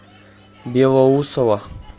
белоусово